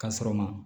Ka sɔrɔ ma